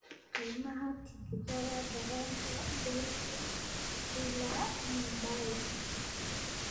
Qiimaha tigidhada tareenka Delhi ilaa mumbai